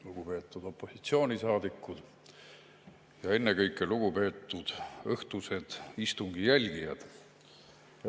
Lugupeetud opositsioonisaadikud ja ennekõike lugupeetud õhtused istungi jälgijad!